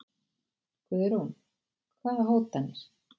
Guðrún: Hvaða hótanir?